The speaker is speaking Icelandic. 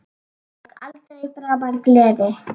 Og aldrei framar gleði.